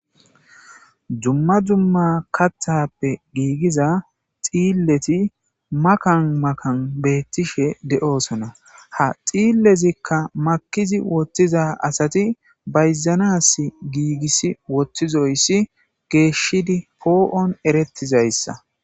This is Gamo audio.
dumma dumma kaththappe giigiza dhiilleti makan makan betiishshe de'oosona ha dhiillezikka makizi woththiza asati bayzanas giigiss wottizoyssi geeshshidi poo'on erettizayssa